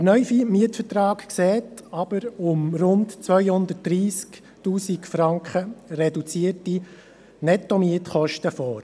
Der neue Mietvertrag sieht jedoch um rund 230 000 Franken reduzierte Nettomietkosten vor.